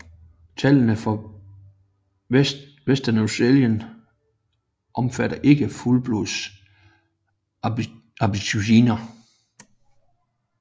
Tallene fra Western Australia omfatter ikke fuldblods aboriginere